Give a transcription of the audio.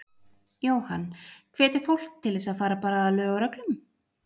Jóhann: Hvetja fólk til þess að fara bara að lög og reglum?